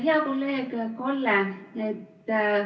Hea kolleeg Kalle!